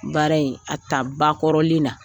Baara in a taa ba kɔrɔlen na